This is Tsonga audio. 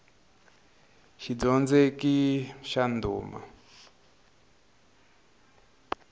xidyondzeki xa ndhuma